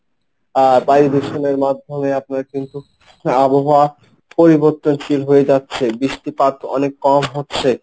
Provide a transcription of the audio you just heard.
আর বায়ু দূষণের মাধ্যমে আপনারা কিন্তু আবহাওয়া পরিবর্তনশীল হয়ে যাচ্ছে বৃষ্টিপাত অনেক কম হচ্ছে,